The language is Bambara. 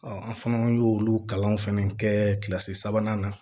an fana y'olu kalan fɛnɛ kɛ kilasi sabanan na